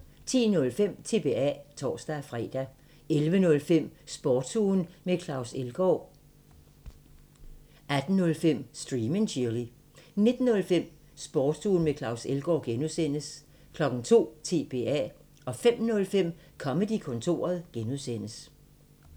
10:05: TBA (tor-fre) 11:05: Sportsugen med Claus Elgaard 18:05: Stream and Chill 19:05: Sportsugen med Claus Elgaard (G) 02:00: TBA 05:05: Comedy-kontoret (G)